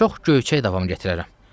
Çox göyçək davam gətirərəm.